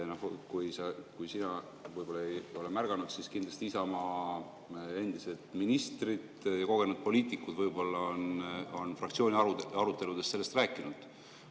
Kui sina ei ole märganud, siis kindlasti Isamaa endised ministrid, kogenud poliitikud, võib-olla on fraktsiooni aruteludes sellest rääkinud.